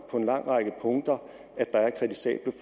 på en lang række punkter